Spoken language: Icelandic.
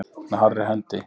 Með harðri hendi